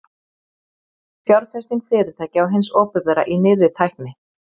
Fjárfesting fyrirtækja og hins opinbera í nýrri tækni.